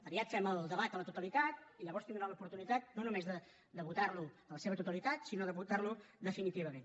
aviat fem el debat a la totalitat i llavors tindran l’oportunitat no només de votar lo en la seva totalitat sinó de votar lo definitivament